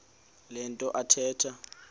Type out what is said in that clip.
le nto athetha